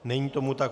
Není tomu tak.